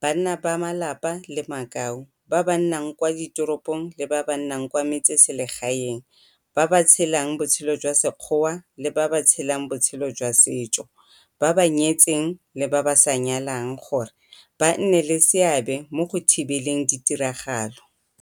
banna ba malapa le makau, ba ba nnang kwa diteropong le ba ba nnang kwa metseselegaeneng, ba ba tshelang botshelo jwa sekgoa le ba ba tshelang botshelo jwa setso, ba ba nyetseng le ba ba sa nyalang, gore ba nne le seabe mo go thibeleng ditiragalo